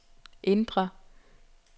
indre